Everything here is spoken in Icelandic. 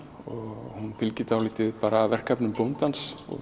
og hún fylgir dálítið verkefnum bóndans og